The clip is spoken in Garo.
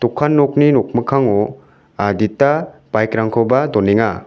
okan nokni nokmikkango adita baik rangkoba donenga.